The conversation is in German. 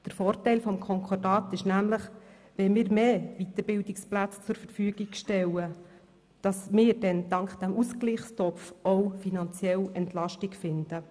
Der Vorteil des Konkordats ist nämlich, dass wir, wenn wir mehr Weiterbildungsplätze zur Verfügung stellen, dank dieses Ausgleichstopfs auch finanziell Entlastung finden.